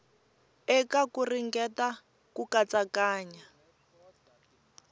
eka ku ringeta ku katsakanya